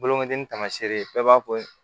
Bolokoden ni taamasere ye bɛɛ b'a fɔ